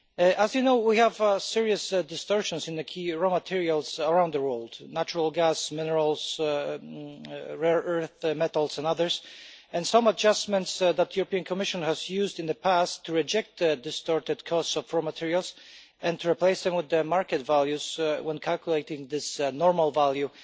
As you know, we have serious distortions in the key raw materials around the world natural gas, minerals, rare metals and others while some adjustments that the European Commission has used in the past to reject the distorted cost of raw materials and to replace them with the market values when calculating this normal value